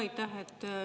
Aitäh!